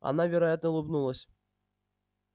она вероятно улыбнулась